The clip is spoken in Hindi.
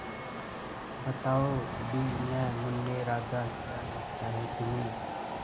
बताओ भी न मुन्ने राजा क्या लगता है तुम्हें